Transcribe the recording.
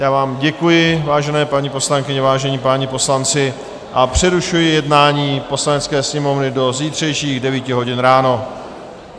Já vám děkuji, vážené paní poslankyně, vážení páni poslanci, a přerušuji jednání Poslanecké sněmovny do zítřejších 9 hodin ráno.